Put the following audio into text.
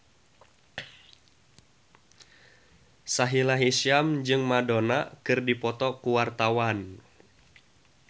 Sahila Hisyam jeung Madonna keur dipoto ku wartawan